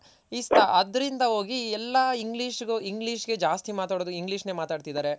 ಈ ಅದ್ರಿಂದ ಹೋಗಿ ಎಲ್ಲ English english ಗೆ ಜಾಸ್ತಿ ಮಾತಾಡೋದು English ನೆ ಮಾತಾಡ್ತಿದ್ದಾರೆ